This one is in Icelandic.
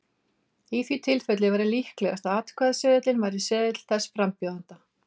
Í því tilfelli væri líklegast að atkvæðaseðilinn væri seðill þess frambjóðanda.